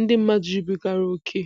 ndị mmadụ jubigara ókè.